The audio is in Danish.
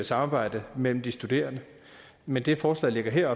samarbejde mellem de studerende men det forslaget her